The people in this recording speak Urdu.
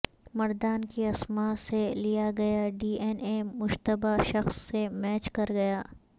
مردان کی اسماء سے لیا گیا ڈی این اے مشتبہ شخص سے میچ کرگیا